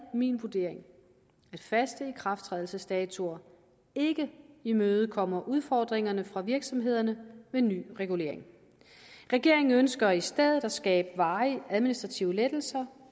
min vurdering at faste ikrafttrædelsesdatoer ikke imødekommer udfordringerne for virksomhederne ved ny regulering regeringen ønsker i stedet at skabe varige administrative lettelser